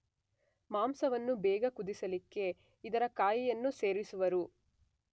ಮಾಂಸವನ್ನು ಬೇಗ ಕುದಿಸಲಿಕ್ಕೆ ಇದರ ಕಾಯಿಯನ್ನು ಸೇರಿಸುವರು